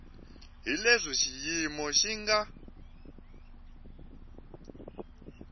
hi leswi xiyimo xi nga